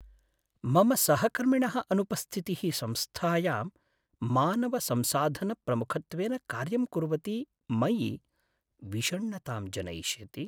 मम सहकर्मिणः अनुपस्थितिः संस्थायां मानवसंसाधनप्रमुखत्वेन कार्यं कुर्वति मयि विषण्णतां जनयिष्यति।